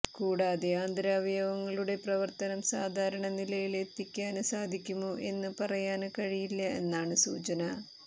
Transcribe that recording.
കൂടാതെ ആന്തരാവയവങ്ങളുടെ പ്രവര്ത്തനം സാധാരണനിലയില് എത്തിക്കാന് സാധിക്കുമോ എന്ന് പറയാന് കഴിയില്ല എന്നാണ് സൂചന